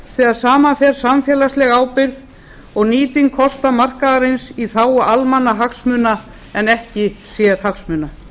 þegar saman fer samfélagsleg ábyrgð og nýting kosta markaðarins í þágu almannahagsmuna en ekki sérhagsmuna